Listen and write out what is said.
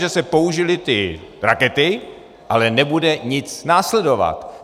Že se použily ty rakety, ale nebude nic následovat.